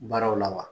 Baaraw la wa